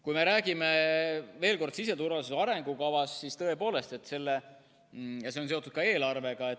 Kui me räägime veel kord siseturvalisuse arengukavast, siis tõepoolest, see on seotud ka eelarvega.